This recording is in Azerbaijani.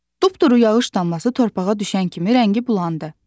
Dupturu yağış damlası torpağa düşən kimi rəngi bulandı.